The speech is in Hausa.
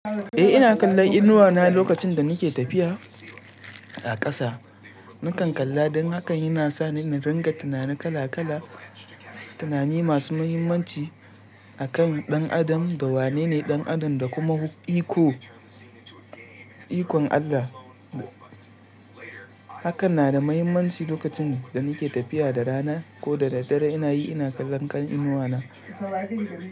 Eh ina kalla inuwa na lokacin da nake tafiya a ƙasa. Nakan kalla dan hakan yana sani na ringa tunani kala kala, tunani masu muhimmanci akan ɗan adam da wane ne ɗan adam da kuma iko, ikon Allah. Hakan na da muhimmanci lokacin da nake tafiya da rana ko da dare ina yi ina kallon kan inuwa na.